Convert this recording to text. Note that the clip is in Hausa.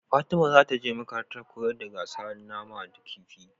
Fatima zataje makarantar koyan gasa nama da kifi